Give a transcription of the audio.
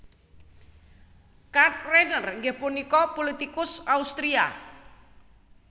Karl Renner inggih punika pulitikus Austria